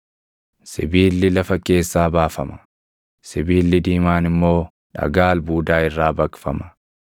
Sibiilli lafa keessaa baafama; sibiilli diimaan immoo dhagaa albuudaa irraa baqfama.